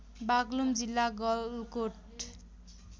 बागलुङ जिल्ला गलकोट